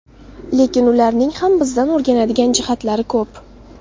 Lekin ularning ham bizdan o‘rganadigan jihatlari ko‘p.